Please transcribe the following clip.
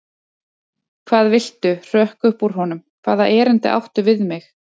Hvað viltu hrökk upp úr honum, hvaða erindi áttu við mig?